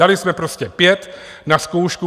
Dali jsme prostě pět na zkoušku.